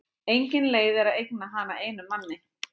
Engin leið er að eigna hana einum manni.